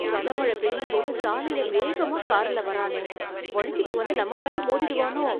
கனமழ பெய்யும்போது, சாலையில் வேகமா காரில் வர்றானே... வழுக்கிட்டு வந்து நம்ம மேல மோதிடுவானோ...